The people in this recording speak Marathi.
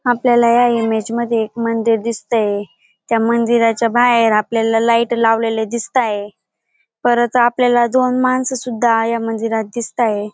आपल्याला या इमेज मध्ये एक मंदिर दिसतंय त्या मंदिराच्या बाहेर आपल्याला लाइट लावलेल्या दिसताय परत आपल्याला दोन माणस सुद्धा या मंदिरात दिसताय.